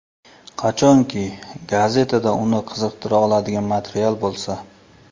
Qachonki, gazetada uni qiziqtira oladigan material bo‘lsa.